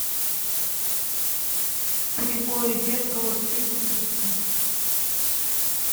кривое зеркало все выпуски